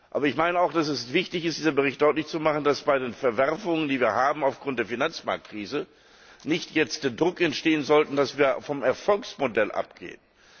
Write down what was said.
Aber ich meine auch, dass es wichtig ist, mit diesem Bericht deutlich zu machen, dass bei den Verwerfungen, die wir aufgrund der Finanzmarktkrise haben, jetzt nicht Druck entstehen sollte, dass wir vom Erfolgsmodell abgehen.